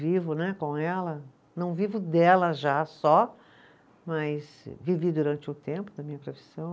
Vivo né, com ela, não vivo dela já só, mas vivi durante um tempo da minha profissão.